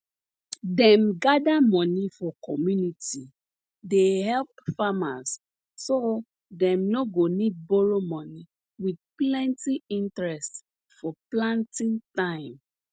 dem gather money for community dey help farmers so dem no go need borrow money with plenty interest for planting time